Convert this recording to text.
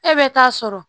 E bɛ taa sɔrɔ